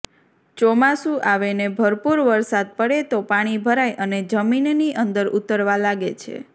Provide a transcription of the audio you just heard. ચોમાસું આવે ને ભરપૂર વરસાદ પડે તો પાણી ભરાય અને જમીનની અંદર ઊતરવા લાગે છે